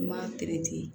N m'a